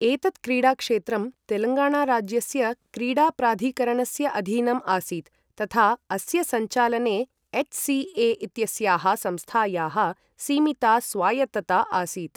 एतत् क्रीडाक्षेत्रं तेलङ्गाणाराज्यस्य क्रीडाप्राधिकरणस्य अधीनम् आसीत्, तथा अस्य सञ्चालने एच्.सी.ए.इत्यस्याः संस्थायाः सीमिता स्वायत्तता आसीत्।